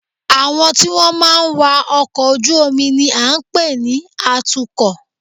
Àwọn tí wọ́n máa ń wa ọkọ̀ ojú-omi ni à ń pè ní atukọ̀